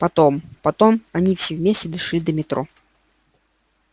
потом потом они все вместе дошли до метро